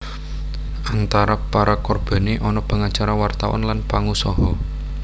Antara para korbané ana pangacara wartawan lan pangusaha